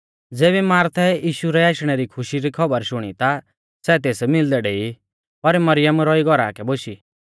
ज़ेबी मार्थै यीशु रै आशणै री खुशी री खौबर शुणी ता सै तेस मिलदै डेई पर मरियम रौई घौरा कै बोशी